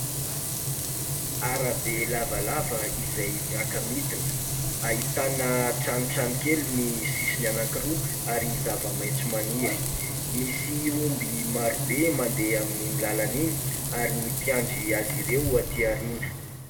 Arabe lavalava izay miaka-midina, ahitana tranotrano kely ny sisiny anankiroa ary zava-maitso maniry. Misy omby maro be mandeha amin'iny lalana iny, ary ny mpiandry azy ireo aty aoriana.